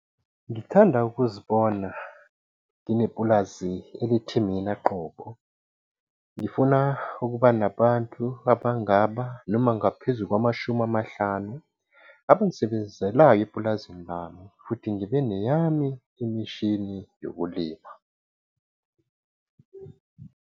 Ngithanda ukuzibona nginepulazi elithi mina qobo. Ngifuna ukuba nabantu abayi-50 abangisebenzelayo epulazini lami, futhi ngibe neyami imishini yokulima.